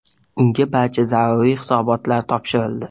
Unga barcha zaruriy hisobotlar topshirildi.